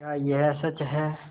क्या यह सच है